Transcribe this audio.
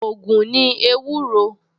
Ògùn ni ewúro